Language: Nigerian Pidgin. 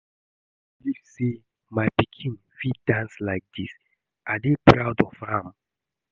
I no believe say my pikin fit dance like dis. I dey proud of am.